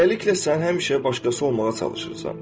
Beləliklə, sən həmişə başqası olmağa çalışırsan.